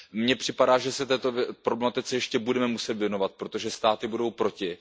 Mně připadá, že se této problematice ještě budeme muset věnovat, protože státy budou proti.